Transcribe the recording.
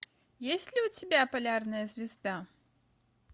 есть ли у тебя полярная звезда